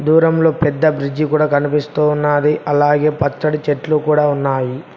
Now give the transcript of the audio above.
దూరంలో పెద్ద బ్రిడ్జి కూడా కనిపిస్తూ ఉన్నది అలాగే పచ్చని చెట్లు కూడా ఉన్నాయి.